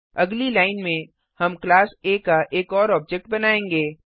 अगली लाइन में हम क्लास आ का एक और ऑब्जेक्ट बनायेंगे